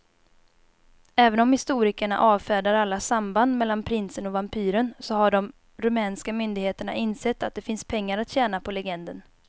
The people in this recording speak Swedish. Även om historikerna avfärdar alla samband mellan prinsen och vampyren så har de rumänska myndigheterna insett att det finns pengar att tjäna på legenden.